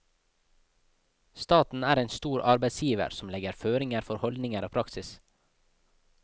Staten er en stor arbeidsgiver som legger føringer for holdninger og praksis.